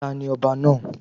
Tani ọba náà?